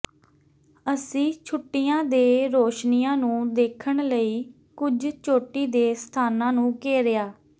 ਅਸੀਂ ਛੁੱਟੀਆਂ ਦੇ ਰੌਸ਼ਨੀਆਂ ਨੂੰ ਦੇਖਣ ਲਈ ਕੁਝ ਚੋਟੀ ਦੇ ਸਥਾਨਾਂ ਨੂੰ ਘੇਰਿਆ